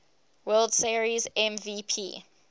world series mvp